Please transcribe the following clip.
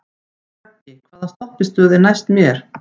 Röggi, hvaða stoppistöð er næst mér?